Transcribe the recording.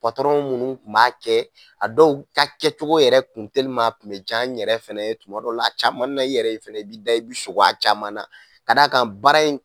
Patɔrɔn minnu tun b'a kɛ, a dɔw ta kɛcogo yɛrɛ kun a tun bɛ ja n yɛrɛ fɛnɛ tuma dɔw la, i b'i da, i bɛ sugo a caman ka d'a kan baara in